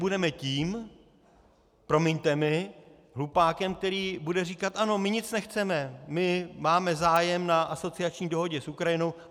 Budeme tím, promiňte mi, hlupákem, který bude říkat "ano, my nic nechceme, my máme zájem na asociační dohodě s Ukrajinou"?